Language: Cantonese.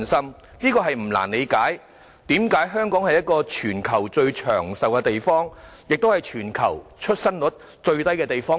所以，大家不難理解為何香港是全球最長壽的地方，亦是全球其中一個出生率最低的地方。